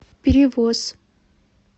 перевоз